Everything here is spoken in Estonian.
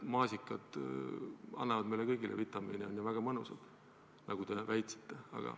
Maasikad annavad meile kõigile vitamiine, on ju väga mõnusad, nagu te väitsite, aga ...